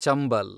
Chambal